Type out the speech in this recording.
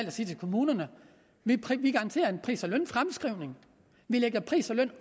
at sige til kommunerne vi garanterer en pris og lønfremskrivning vi lægger pris og løn